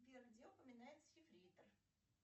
сбер где упоминается ефрейтор